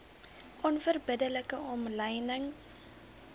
onverbidde like omlynings